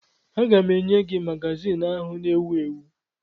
Aga m enye gị magazin ahụ na-ewu ewu